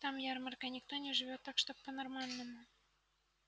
там ярмарка никто не живёт так чтобы по-нормальному